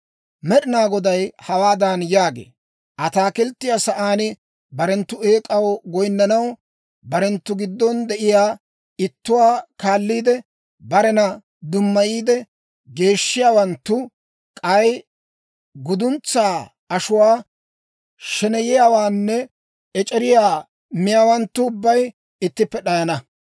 Med'inaa Goday hawaadan yaagee; «Ataakilttiyaa sa'aan barenttu eek'aw goyinnanaw, barenttu giddon de'iyaa ittuwaa kaalliide, barena dummayiide geeshshiyaawanttu, k'ay guduntsaa ashuwaa, sheneyiyaawaanne ec'eriyaa miyaawanttu ubbay ittippe d'ayana.